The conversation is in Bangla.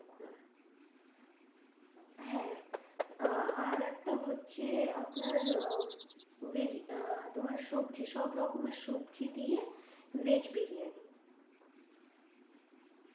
হ্যাঁ আহ আরেক টা হচ্ছে আপনার আহ তোমার সবজি সব রকমের সবজি দিয়ে veg বিরিয়ানি।